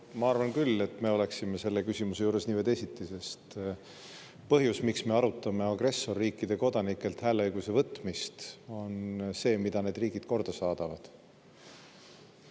Ma arvan küll, et me oleksime selle küsimuse juures nii või teisiti, sest põhjus, miks me arutame agressorriikide kodanikelt hääleõiguse võtmist, on see, mida need riigid korda saadavad.